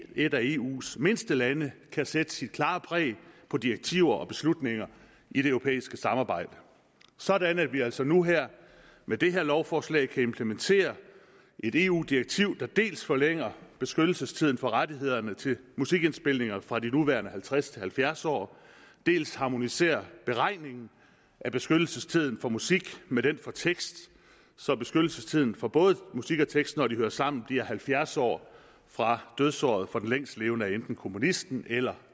et af eus mindste lande kan sætte sit klare præg på direktiver og beslutninger i det europæiske samarbejde sådan at vi altså nu her med det her lovforslag kan implementere et eu direktiv der dels forlænger beskyttelsestiden for rettighederne til musikindspilninger fra de nuværende halvtreds år til halvfjerds år dels harmoniserer beregningen af beskyttelsestiden for musik med den for tekst så beskyttelsestiden for både musik og tekst når de hører sammen bliver på halvfjerds år fra dødsåret for den længstlevende af enten komponisten eller